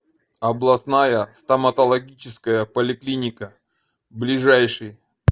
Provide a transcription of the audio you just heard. областная стоматологическая поликлиника ближайший